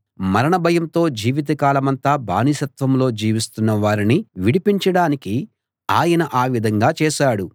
మరణ భయంతో జీవిత కాలమంతా బానిసత్వంలో జీవిస్తున్న వారిని విడిపించడానికి ఆయన ఆ విధంగా చేశాడు